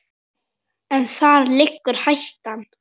En þar liggur hættan.